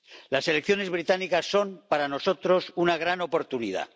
Las elecciones británicas son, para nosotros, una gran oportunidad.